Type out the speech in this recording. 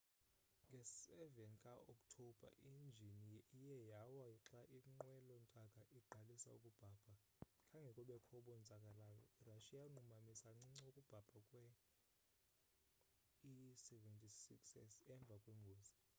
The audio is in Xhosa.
nge 7 ka okthobha injini iye yawa xa inqwelo ntaka iqalisa ukubhabha khange kubekho bonzakaleyo. irussia yanqumamisa kancinci ukubhabha kwee-il-76s emva kwengozi